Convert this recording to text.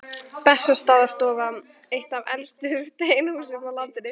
Bessastaðastofa, eitt af elstu steinhúsum á landinu.